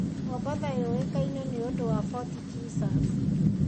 Mombatha yũĩkaine nĩ ũndũ wa Fort Jesus.